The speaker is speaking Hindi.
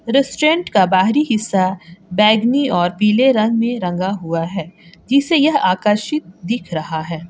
रेस्टोरेंट का बाहरी हिस्सा बैगानी और पीले रंग में रंगा हुआ है जिसे यह आकर्षित दिख रहा है।